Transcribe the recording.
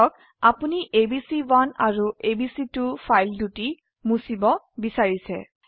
ধৰক আপোনি এবিচি1 আৰু এবিচি2 ফাইল দুটি মুছিব বিছাৰিছে